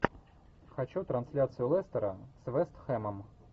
хочу трансляцию лестера с вест хэмом